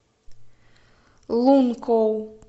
лункоу